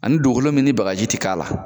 Ani dugukolo min ni bagaji ti k'a la